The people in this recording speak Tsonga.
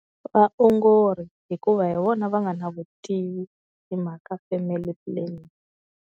Vaongori hikuva hi vona va nga na vutivi hi mhaka family planning.